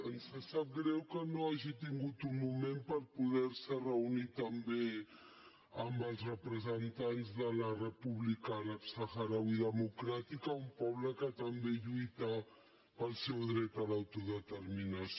ens sap greu que no hagi tingut un moment per poder se reunir també amb els representants de la república àrab sahrauí democràtica un poble que també lluita pel seu dret a l’autodeterminació